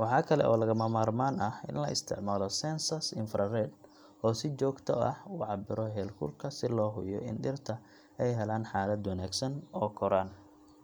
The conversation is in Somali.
Waxaa kale oo lagama maarmaan ah in la isticmaalo sensors infrared oo si joogto ah u cabbira heerkulka si loo hubiyo in dhirta ay helaan xaalad wanaagsan oo koraan.